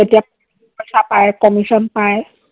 তেতিয়া টকা পায়, commission পায়।